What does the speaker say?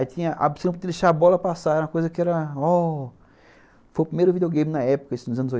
Aí tinha a opção de deixar a bola passar, era uma coisa que era...ó... Foi o primeiro videogame na época, isso nos anos